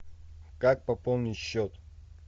как пополнить счет